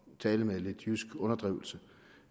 tale med lidt jysk underdrivelse